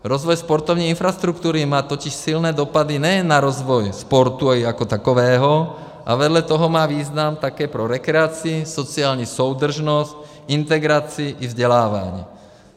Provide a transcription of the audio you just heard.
Rozvoj sportovní infrastruktury má totiž silné dopady nejen na rozvoj sportu jako takového, ale vedle toho má význam také pro rekreaci, sociální soudržnost, integraci a vzdělávání.